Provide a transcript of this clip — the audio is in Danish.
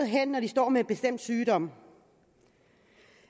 hen når de står med en bestemt sygdom